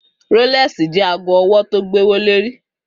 Rólèsí jè àgó òwò tó gbówólérí